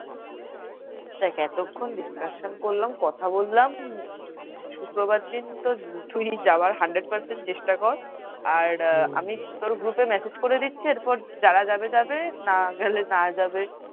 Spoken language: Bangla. দেখ এতক্ষণ discussion করলাম কথা বললাম উম শুক্রবার দিন তুই যাবার hundred percent চেষ্টা কর আর তোর group message করে দিচ্ছি। এরপর যারা যাবে যাবে না গেলে না যাবে।